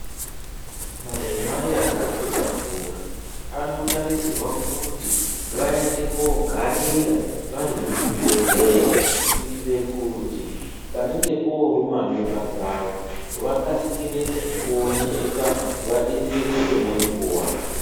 Madzimai akazvitakura anotarisorwa kuti vaende kogarira varikuzvibhedhleya kuitire kuti panenge poruma mimba dzawo vakasire kuoneka vadetsereke nenguwa.